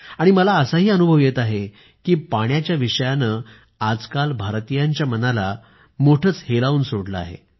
आणि मला असा अनुभव येत आहे की पाण्याच्या विषयावर आजकाल भारतीयांच्या मनाला हलवून सोडले आहे